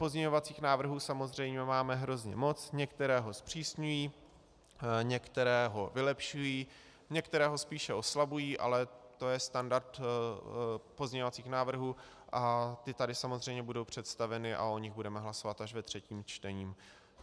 Pozměňovacích návrhů samozřejmě máme hrozně moc, některé ho zpřísňují, některé ho vylepšují, některé ho spíše oslabují, ale to je standard pozměňovacích návrhů a ty tady samozřejmě budou představeny a o nich budeme hlasovat až ve třetím čtení.